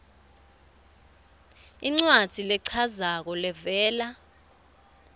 incwadzi lechazako levela